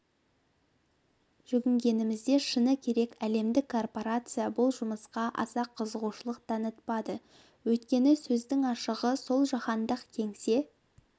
жүгінгенімізде шыны керек әлемдік корпорация бұл жұмысқа аса қызығушылық танытпады өйткені сөздің ашығы сол жаһандық кеңсе